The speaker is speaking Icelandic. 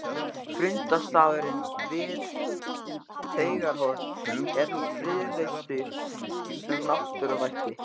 Fundarstaðurinn við Teigarhorn er nú friðlýstur sem náttúruvætti.